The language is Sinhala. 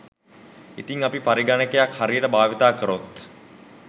ඉතින් අපි පරිගනකයක් හරියට බාවිතා කරොත්